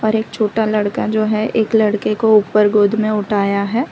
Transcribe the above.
और एक छोटा लड़का जो है एक लड़के को उपर गोद में उठाया है।